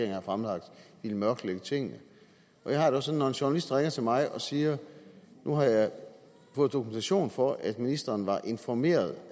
havde fremlagt ville mørklægge tingene jeg har det også sådan at når en journalist ringer til mig og siger nu har jeg fået dokumentation for at ministeren var informeret